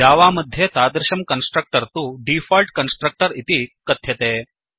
Java मध्ये तादृशं constructor तु डीफोल्ट् कन्स्ट्रक्टर् इति कथ्यते